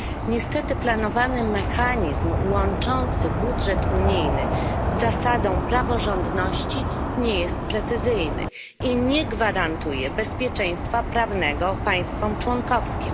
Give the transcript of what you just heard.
Niestety planowany mechanizm łączący budżet unijny z zasadą praworządności nie jest precyzyjny i nie gwarantuje bezpieczeństwa prawnego państwom członkowskim.